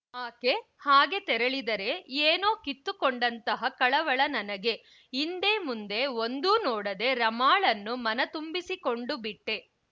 ಆಕೆ ಹಾಗೆ ತೆರಳಿದರೆ ಏನೋ ಕಿತ್ತುಕೊಂಡಂತಹ ಕಳವಳ ನನಗೆ ಹಿಂದೆ ಮುಂದೆ ಒಂದೂ ನೋಡದೆ ರಮಾಳನ್ನು ಮನ ತುಂಬಿಸಿಕೊಂಡುಬಿಟ್ಟೆ